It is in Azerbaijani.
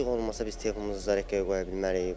İşıq olmasa biz telefonumuzu zaryatkaya qoya bilmərik.